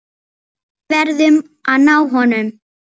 Við verðum að ná honum.